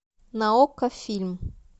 на окко фильм